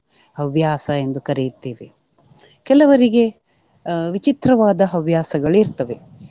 ಹವ್ಯಾಸ ಎಂದು ಕರೆಯುತ್ತೇವೆ. ಕೆಲವರಿಗೆ ಅಹ್ ವಿಚಿತ್ರವಾದ ಹವ್ಯಾಸಗಳು ಇರ್ತವೆ.